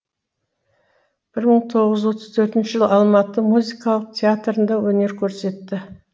бір мың тоғыз жүз отыз төртінші жылы алматы музыкалық театрында өнер көрсетті